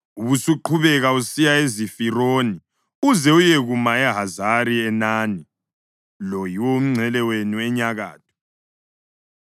ubusuqhubeka usiya eZifironi uze uyekuma eHazari-Enani. Lo yiwo umngcele wenu enyakatho.